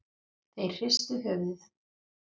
Þeir hristu höfuðið.